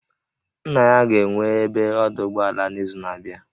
Nna ya ga-enwe ebe ọdụ ụgbọala n'izu na-abịa